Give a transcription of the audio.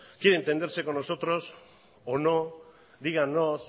quiere entenderse con nosotros o no díganos